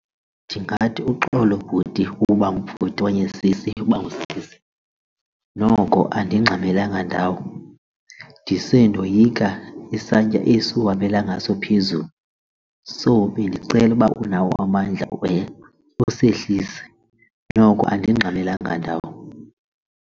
Ndingathi, uxolo bhuti uba ngubhuti okanye sisi uba ngusisi noko andingxamelanga ndawo ndise ndoyika isantya esi uhambela ngaso phezulu. So bendicela ukuba unawo amandla ukhe usehlise noko andingxamelanga ndawo.